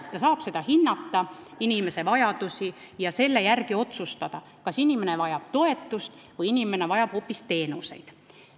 Ta saab inimese vajadusi hinnata ja selle järgi otsustada, kas inimene vajab toetust või hoopis teenuseid.